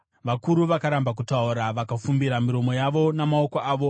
vakuru vakaramba kutaura vakafumbira miromo yavo namaoko avo;